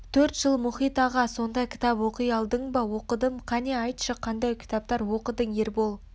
төрт жыл мұхит аға сонда кітап оқи алдың ба оқыдым қане айтшы қандай кітаптар оқыдың ербол